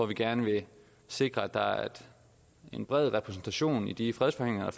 vil gerne sikre at der er en bred repræsentation i de fredsforhandlinger